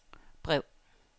brev